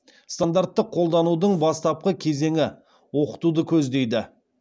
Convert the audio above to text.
стандартты қолданудың бастапқы кезеңі оқытуды көздейді